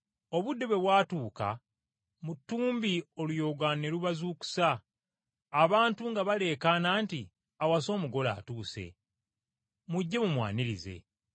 “Obudde bwe bwatuuka mu ttumbi oluyoogaano ne lubazuukusa, abantu nga baleekaana nti, ‘Awasa omugole atuuse! Mujje mumwanirize!’